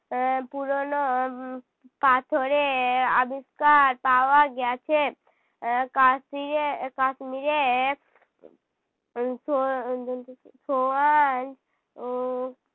এর পুরোনো পাথরের আবিষ্কার পাওয়া গেছে। আহ কাস্যিরে~ কাশ্মীরে ও